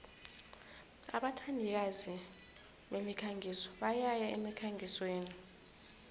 abathandikazi bemikhangiso bayaya emkhangisweni